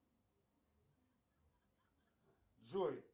джой